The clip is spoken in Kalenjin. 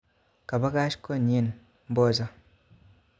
Kabakach konyin mboja